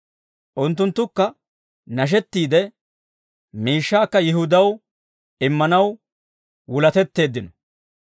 Unttunttukka nashettiide, miishshaakka Yihudaw immanaw wuletteeddino.